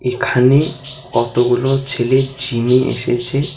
এখানে অতগুলো ছেলে জিমে এসেছে।